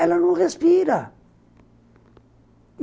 Ela não respira.